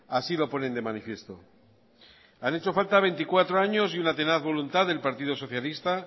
así lo ponen de manifiesto han hecho falta veinticuatro años y una tenaz voluntad del partido socialista